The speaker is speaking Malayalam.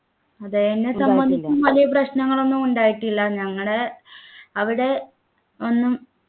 അതെ എന്നെ സംബന്ധിച്ചും വലിയ പ്രശ്നങ്ങളൊന്നും ഉണ്ടായിട്ടില്ല ഞങ്ങടെ അവിടെ ഒന്നും